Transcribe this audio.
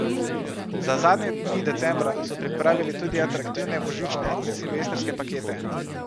Za zadnje dni decembra so pripravili tudi atraktivne božične in silvestrske pakete.